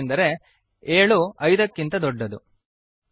ಏಕೆಂದರೆ 7 5 ಕ್ಕಿಂತ ದೊಡ್ಡದು